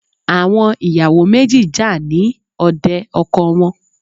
Àwọn ìyàwò méjì jà ní òde ọkọ wọn.